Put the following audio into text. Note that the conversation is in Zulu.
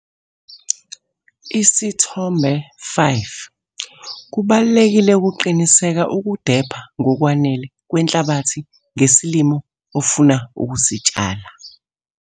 Isithombe 5- Kubalulekile ukuqinisekisa ukudepha ngokwanele kwenhlabathi ngesilimo ofuna ukusitshala.